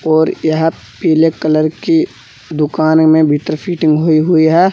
और यहां पीले कलर की दुकान में मीटर फिटिंग हुई हुई है।